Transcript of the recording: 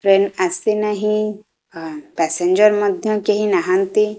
Train ଆସି ନାହିଁ ଆ ପ୍ୟାସେଞ୍ଜର୍ ମଧ୍ୟ କେହି ନାହାଁନ୍ତି।